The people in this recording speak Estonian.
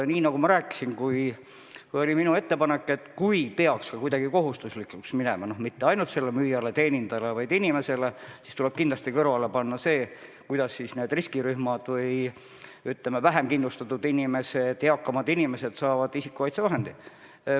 Nii nagu ma rääkisin, minu ettepanek oli, et kui maskid peaks kohustuslikuks tehtama mitte ainult müüjatele-teenindajatele, vaid kõigile inimestele, siis tuleb kindlasti tagada, et riskirühmad või, ütleme, vähem kindlustatud ja eakamad inimesed saavad isikukaitsevahendeid.